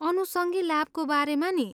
अनुसङ्गी लाभको बारेमा नि?